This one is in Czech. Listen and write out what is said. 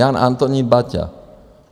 Jan Antonín Baťa -